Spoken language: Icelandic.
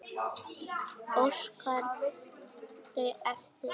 Óskari eftir.